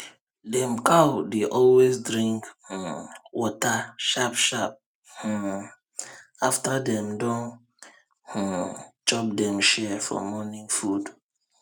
dem cow dey always drink um water sharp sharp um after dem don um chop dem share for morning food